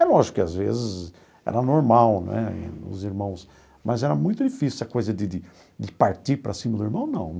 É lógico que, às vezes, era normal né, os irmãos... Mas era muito difícil essa coisa de de de partir para cima do irmão, não.